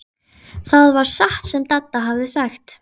Það var satt sem Dadda hafði sagt.